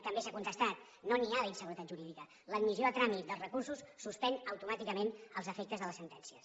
també s’ha contestat no n’hi ha d’inseguretat jurídica l’admissió a tràmit dels recursos suspèn automàticament els efectes de les sentències